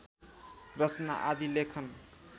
रचना आदि लेखन